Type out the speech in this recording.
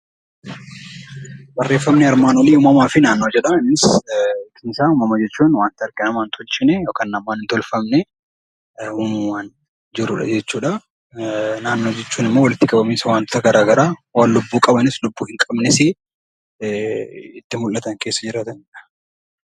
Uumama jechuun wanta namoonni hin tolchine yookaan harkaan hin tolfamne jechuudha. Naannoo jechuun immoo walitti qabama wantoota garaagaraa waan lubbuu qabus hin qabnes itti mul'atan keessa jiraatanidha.